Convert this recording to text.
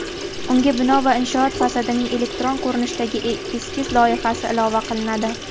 unga bino va inshoot fasadining elektron ko‘rinishdagi eskiz loyihasi ilova qilinadi.